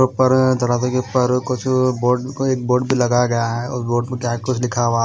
ऊपर दरवाजे के ऊपर कुछ बोर्ड एक बोर्ड भी लगाया गया है उस बोर्ड पर क्या लिखा हुआ--